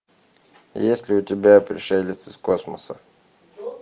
есть ли у тебя пришелец из космоса